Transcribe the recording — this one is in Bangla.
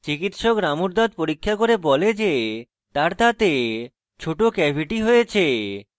চিকিৎসক রামুর দাঁত পরীক্ষা করে বলে যে তার দাঁতে ছোট ক্যাভিটি হয়েছে